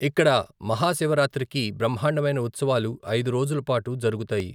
ఇక్కడ మహాశివరాత్రికి బ్రహ్మాండమైన ఉత్సవాలు ఐదు రోజుల పాటు జరుగుతాయి.